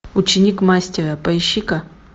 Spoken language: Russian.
ученик мастера поищи ка